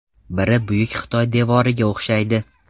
Biri Buyuk Xitoy devoriga o‘xshaydi.